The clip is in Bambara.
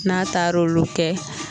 N'a taar'olu kɛ.